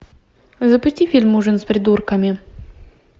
запусти фильм ужин с придурками